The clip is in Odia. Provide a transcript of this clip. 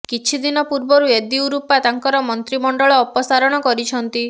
କିଛି ଦିନ ପୂର୍ବରୁ ୟେଦିୟୁରପ୍ପା ତାଙ୍କର ମନ୍ତ୍ରୀ ମଣ୍ଡଳ ଅପସାରଣ କରିଛନ୍ତି